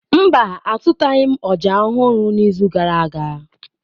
Mba, azụtaghị m ọjà ọhụrụ n'izu gara aga.